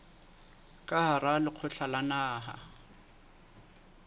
ka hara lekgotla la naha